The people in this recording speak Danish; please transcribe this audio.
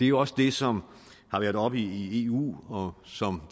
jo også det som har været oppe i eu og som